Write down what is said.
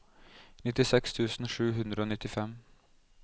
nittiseks tusen sju hundre og nittifem